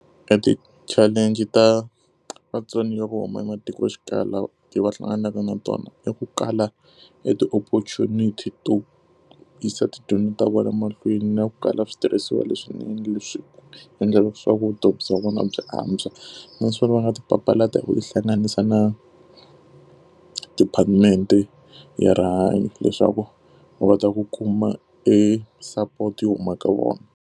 E ti-challenge-i ta vatsoniwa vo huma ematikoxikaya leti va hlanganaka na tona i ku kala e ti-opportunity to yisa tidyondzo ta vona mahlweni, na ku kala switirhisiwa leswinene leswi endla leswaku vutomi bya vona byi antswa. Naswona va nga ti papalata ku tihlanganisa na department-e ya rihanyo leswaku va ta ku kuma e support yo huma ka vona.